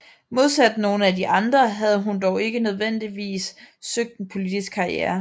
Modsat nogle af de andre havde hun dog ikke nødvendigvis søgt en politisk karriere